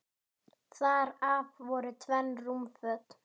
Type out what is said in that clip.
Þar af voru tvenn rúmföt.